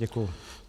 Děkuji.